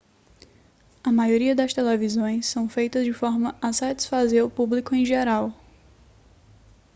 a maioria das televisões são feitas de forma a satisfazer o público em geral